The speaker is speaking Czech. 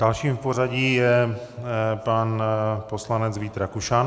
Dalším v pořadí je pan poslanec Vít Rakušan.